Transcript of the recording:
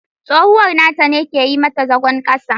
Tsohuwar nata ne ke yi mata zagon kasa.